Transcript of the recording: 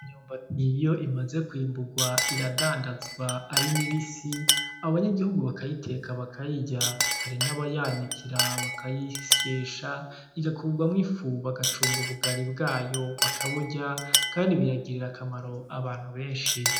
Imyumbati iyo imaze kwimurwa iradandazwa ari mibisi, abanyagihugu bakayiteka bakayirya. Hari n'abayanikira bakayisyesha, igakurwamwo ifu bagacumba ubugari, bwayo bakaburya, kandi bukagirira akamaro abantu benshi.